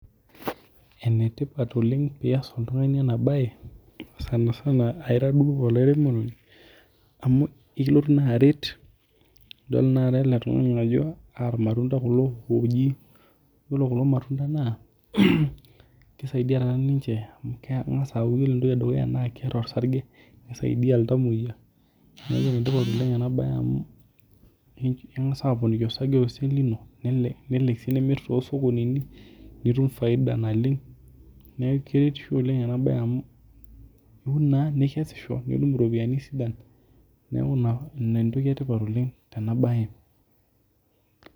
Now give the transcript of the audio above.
Ene tipat oleng' pias oltung'ani ena bae sanisana duo ira alairemoni amuu ikiloguu na aret idol naa tenakata ele tung'ani ajoo irmatunda kulo oji yiolo kuko matunda naa kisaidia tenakata ninche amu kengas iyiolo entoki edukuya keeta orsage nisaidia iltumoyia enetipat eeng ena bae amuu kengas aponiki orsage tosesen lino nelo ssii nimir tooo sukulini nitum faid naleng' neeku keretisho oleng' ena bae amu iun naa nikesisho nitum iropiani sidan neeku ina entoki etipat oleng' tena bae.